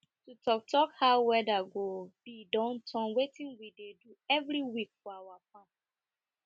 to talk talk how weader go be don turn wetin we dey do every week for our farm